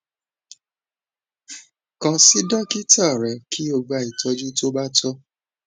kan si dokita rẹ ki o gba itọju to ba tọ